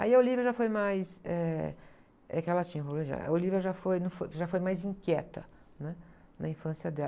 Aí a Olívia já foi mais, eh, é que ela, a Olívia já foi, foi, já foi mais inquieta, né? Na infância dela.